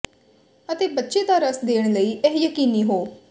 ਅਤੇ ਬੱਚੇ ਦਾ ਰਸ ਦੇਣ ਲਈ ਇਹ ਯਕੀਨੀ ਹੋ